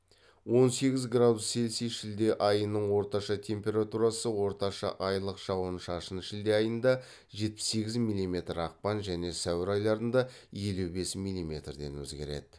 он сегіз градус цельсий шілде айының орташа температурасы орташа айлық жауын шашын шілде айында жетпіс сегіз милиметр ақпан және сәуір айларында елу бес милиметрден өзгереді